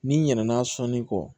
N'i ɲinɛ sɔni kɔ